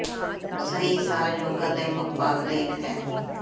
ਸਹੀ ਸਾਹ ਯੋਗਾ ਦੇ ਮੁੱਖ ਭਾਗ ਦੇ ਇੱਕ ਹੈ